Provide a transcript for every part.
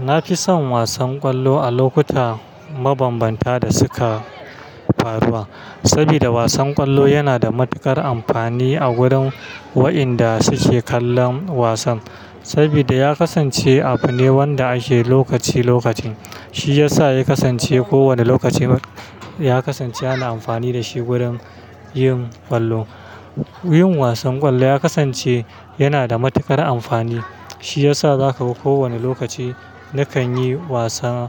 Na fi son wasan ƙwallo a lokuta mabambanta da suka faruwa. Saboda wasan ƙwallo yana da matuƙar amfani a wurin wayanda suke kallon wasan. Saboda ya kasance abu ne wanda ake lokaci-lokacin. Shi yasa ya kasance kowane lokaci, ya kasance ana amfani da shi wurin yin ƙwallo. Yin wasan ƙwallo ya kasance yana da matuƙar amfani. Shi yasa za ka ga kowane lokaci nakan yi wasan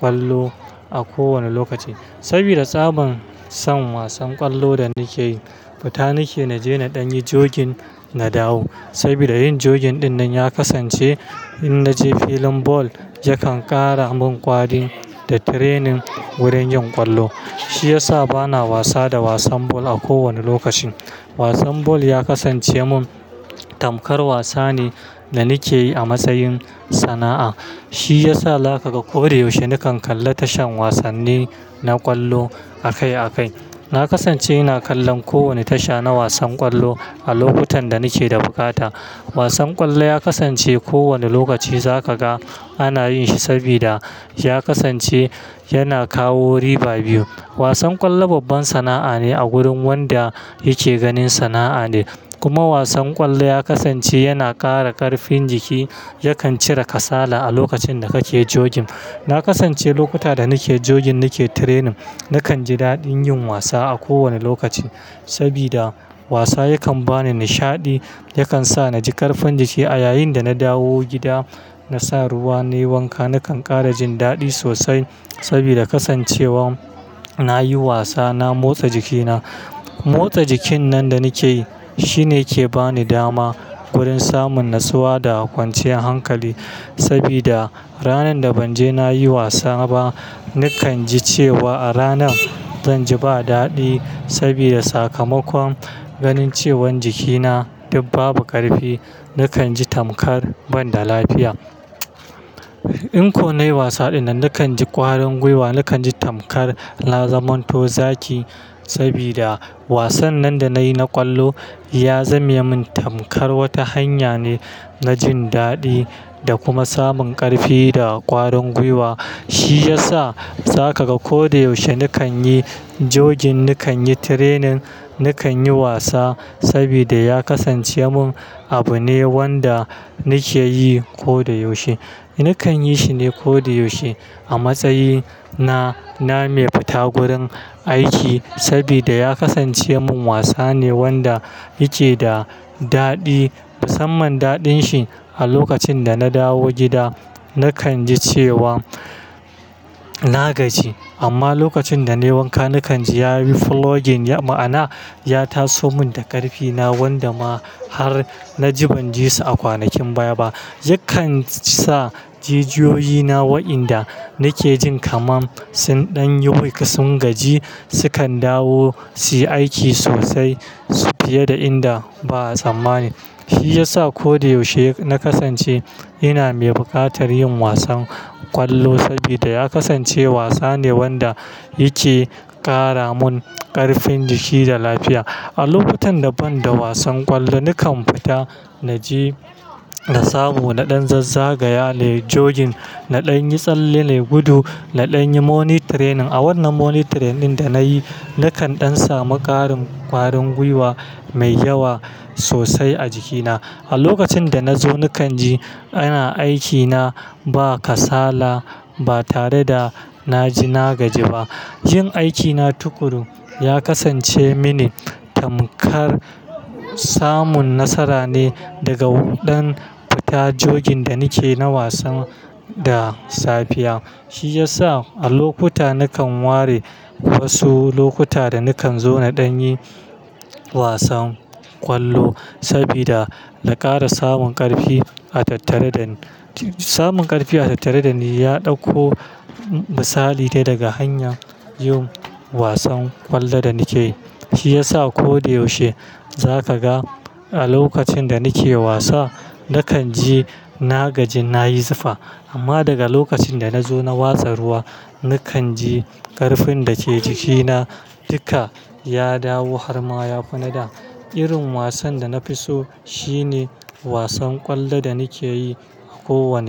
ƙwallo a kowane lokaci. Saboda tsaban son wasan ƙwallo da nake yi, fita nike na je na ɗan yi jogin, na dawo. Saboda yin jogin ɗinnan ya kasance in na je filin ball yakan ƙara mun ƙwari da training wurin yin ƙwallo. Shi yasa bana wasa da wasan ba a kowane lokaci. Wasan ball ya kasance mun tamkar wasa ne da nake yi a matsayin sana'a. Shi yasa za ka ga ko da yaushe nakan kalla tashan wasanni na ƙwallo akai akai. Na kasance ina kallon kowane tasha na wasan ƙwallo a lokutan da nike da buƙata. Wasan ƙwallo ya kasance kowane lokaci za ka ga ana yin shi saboda ya kasance yana kawo riba biyu. Wasan ƙwallo babban sana'a ne a gurin wanda yake ganin sana'a ne, kuma wasan ƙwallo ya kasance yana ƙara ƙarfin jiki. Yakan cire kasala a lokacin da kake jogin. Na kasance lokuta da nake jogin nake training, nakan ji daɗin yin wasa a kowane lokaci. Saboda wasa yakan bani nishaɗi, yakan sa na ji ƙarfin jiki a yayin da na dawo gida na sa ruwa nayi wanka nakan ƙara jin daɗi sosai. Saboda kasancewa nayi wasa na motsa jikina. Motsa jikin nan da nake yi shine yake bani dama wurin samun natsuwa da kwanciyar hankali. Saboda ranar da ban je na yi wasa ba, nakan ji cewa a ranar zan ji ba daɗi. Saboda sakamakon ganin cewan jikina duk babu ƙarfi, nakan ji tamkar ban da lafiya. In ko nayi wasa ɗinnan, nakan ji ƙwarin gwiwa, nakan ji tamkar na zamanto zaki. Saboda wasan nan da nayi na ƙwallo ya zame mun tamkar wata hanya ne na jin daɗi da kuma samun ƙarfi da ƙwarin gwiwa. Shi yasa za ka ga ko da yaushe nakan yi jogin, nakan yi training, nakan yi wasa. Saboda ya kasance mun abu ne wanda nake yi ko da yaushe. Nakan yi shi ne ko da yaushe a matsayi na, na mai fita gurin aiki. Saboda ya kasance mun wasa ne wanda yake da daɗi. Musamman daɗin shi a lokacin da na dawo gida nakan ji cewa na gaji. Amma lokacin da nayi wanka, nakan ji ya yi flowing. Ma'ana, ya taso mun da ƙarfina wanda ma har na ji ban ji su a kwanakin baya ba. Yakan sa jijiyoyi na waɗanda nake jin kamar sun ɗan yi weak, sun gaji, sukan dawo su yi aiki sosai fiye da inda ba a tsammani. Shi yasa ko da yaushe na kasance ina mai buƙatar yin wasan ƙwallo. Saboda ya kasance wasa ne wanda yake ƙara mun ƙarfin jiki da lafiya. A lokutan da ban da wasan ƙwallo, nakan fita na je na samu, na ɗan zazzagaya nayi jogin, na ɗan yi tsalle nayi gudu, na ɗan yi morning training. A wannan morning training ɗin da nayi, nakan ɗan samu ƙarin ƙwarin gwiwa mai yawa sosai a jikina. A lokacin da na zo nakan ji ina aikina ba kasala ba tare da na ji na gaji ba. Yin aikina tukuru ya kasance mini tamkar samun nasara ne daga ɗan fita jogin da nake na wasan da safiya. Shi yasa a lokuta nakan ware wasu lokuta da nakan zo na ɗan yi wasan ƙwallo. Saboda na ƙara samun ƙarfi a tattare dani, samun ƙarfi a tattare da ni ya ɗauko misali dai daga hanyar yin wasan ƙwallo da nake yi. Shi yasa ko da yaushe za ka ga a lokacin da nake wasa, nakan ji na gaji, na yi zufa amma daga lokacin da na zo na watsa ruwa, nakan ji ƙarfin da ke jikina duka ya dawo har ma ya fi na da. Irin wasan da na fi so shi ne wasan ƙwallo da nake yi a kowanne.